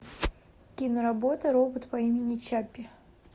киноработа робот по имени чаппи